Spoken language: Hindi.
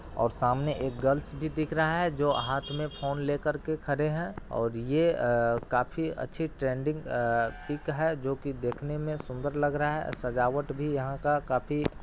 और सामने एक गर्लस भी दिख रहा है जो हाथ में फोन ले कर के खड़े हैं और ये काफ़ी अच्छी ट्रेंडिंग अ पिक है जो कि देखने में सुंदर लग रहा है सजावट भी यहाँ का काफी --